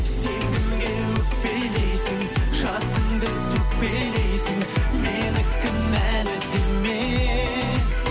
сен кімге өкпелейсің жасыңды төкпелейсің мені кінәлі деме